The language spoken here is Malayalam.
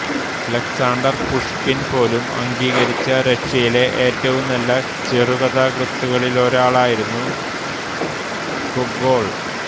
അലക്സാണ്ടർ പുഷ്കിൻ പോലും അംഗീകരിച്ച റഷ്യയിലെ ഏറ്റവും നല്ല ചെറുകഥാകൃത്തുക്കളിലൊരാളായിരുന്നു ഗൊഗോൾ